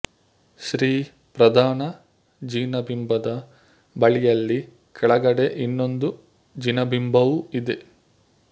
ಶ್ರೀ ಪ್ರಧಾನ ಜಿನಬಿಂಬದ ಬಳಿಯಲ್ಲಿ ಕೆಳಗಡೆ ಇನ್ನೊಂದು ಜಿನ ಬಿಂಬವೂ ಇದೆ